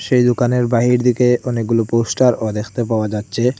এই দোকানের বাহির দিকে অনেকগুলো পোস্টার -ও দেখতে পাওয়া যাচ্চে।